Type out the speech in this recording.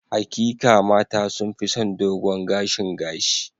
Hakika, mata sun fi son dogon gashin gashi.